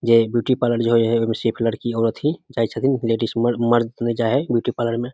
जे इ beauty parlour जे है में सिर्फ लड़की औरत थी जाए छथिन लेडिस मर्द मर्द न जाए है ब्यूटी पार्लर में।